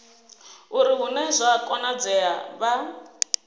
uri hune zwa konadzea vha